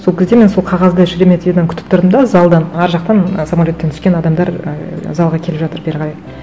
сол кезде мен сол қағазды шереметьеводан күтір тұрдым да залдан ар жақтан самолеттен түскен адамдар ыыы залға келе жатыр бері қарай